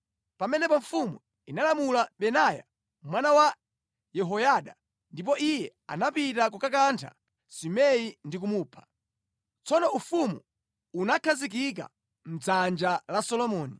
Pamenepo mfumu inalamula Benaya mwana wa Yehoyada ndipo iye anapita kukakantha Simei ndi kumupha. Tsono ufumu unakhazikika mʼdzanja la Solomoni.